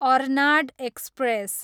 Arnad express